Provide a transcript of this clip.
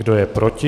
Kdo je proti?